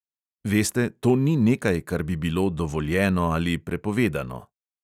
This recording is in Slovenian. Veste, to ni nekaj, kar bi bilo dovoljeno ali prepovedano.